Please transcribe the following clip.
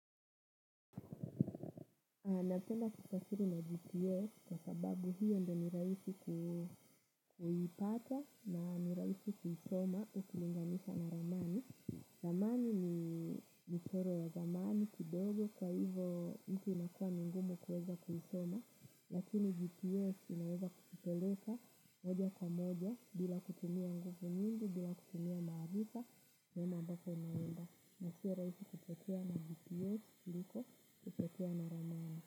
Napenda kufasiri na GPS kwa sababu hiyo ndo ni rahisi kuipata na niraisi kuisoma ukilinganisha na ramani. Ramani ni mchoro ya zamani kidogo kwa hivo hii inakua ni ngumu kuweza kuisoma. Lakini GPS inaweza kukupeleka moja kamoja bila kutumia nguvu nyingi bila kutumia maarifa. Neema ambako naenda na sio rahisi kupotea na GPS liko kutokea na ramani.